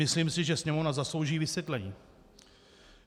Myslím si, že Sněmovna zaslouží vysvětlení.